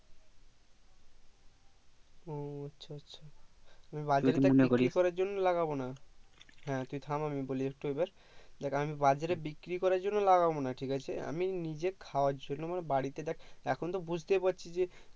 ও আচ্ছা আচ্ছা নিয়ে আমি বাজারে বিক্রি করার জন্য লাগবে না হ্যাঁ তুই থাম আমি বলি একটু এবার দেখ আমি বাজারে বিক্রি করার জন্য লাগাবো না ঠিকাছে আমি নিজে খাওয়ার জন্য বাড়িতে দেখ এখন তো বুজতেই পারছিস যে